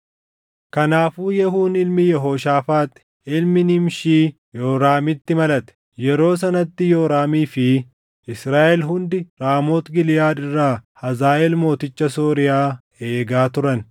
Kanaafuu Yehuun ilmi Yehooshaafaax ilmi Nimshii Yooraamitti malate. Yeroo sanatti Yooraamii fi Israaʼel hundi Raamooti Giliʼaad irraa Hazaaʼeel mooticha Sooriyaa eegaa turan;